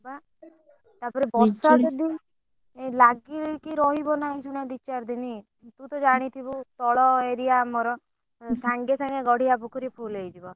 ହଁ ବା ବର୍ଷା ଲାଗିକି ରହିବ ନା ଏଇ ଯଉ ଭଳିଆ ଦି ଚାର ଦିନି ତୁ ତ ଜାଣିଥିବୁ ତଳ area ଆମର ସାଙ୍ଗେ ସାଙ୍ଗେ ଆମର ଗଡିଆ ପୋଖରୀ full ହେଇଯିବ।